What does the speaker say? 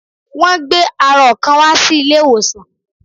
Wọ́n gbé arọ kan wá sí ilé ìwòsàn